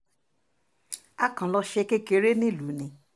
a kàn lọ́ọ́ ṣe kékeré nílùú ni